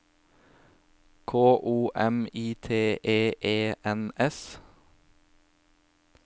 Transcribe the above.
K O M I T E E N S